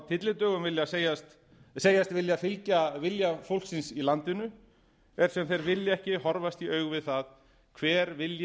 tyllidögum segjast vilja fylgja vilja fólksins í landinu er sem þeir vilji ekki horfast í augu við það hver vilji